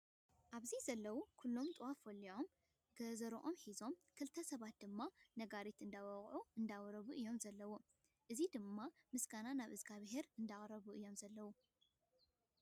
ኣብዚ ዘለው ኩሎም ጥዋፍ ዎሊዖም ገዘሮኦም ሒዞም ክልተ ሰባት ድማ ነጋሪት እንዳወቅዑ እንዳወረቡን እዮም ዘለው። እዚ ድማ ምስገና ናብ እግዚኣቢሄር እንዳቅረቡ እዮም ዘለው።